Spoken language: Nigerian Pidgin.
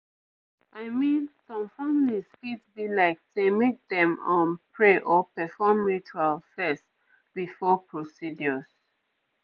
i mean some families fit be like sey make dem um pray or perform rituals fess before procedures